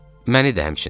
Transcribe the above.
Məni də həmçinin.